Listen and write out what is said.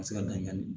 Ka se ka dankan di